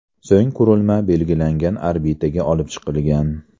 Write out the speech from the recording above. So‘ng qurilma belgilangan orbitaga olib chiqilgan.